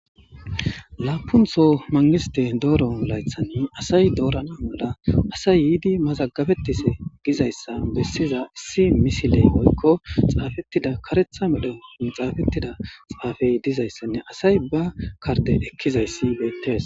Laapuntho mangiste dooro laythanni asay doorana mola asay yiidi mazagabetis gizayssa bessiza issi misiley moykko xaafettida karetha medhen xaafettida xaafey dizayssanne asay ba karde ekkizayssi beettees.